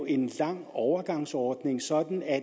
en lang overgangsordning sådan at